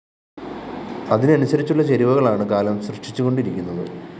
അതിനനുസരിച്ചുള്ള ചേരുവകളാണ് കാലം സൃഷ്ടിച്ചുകൊണ്ടിരിക്കുന്നത്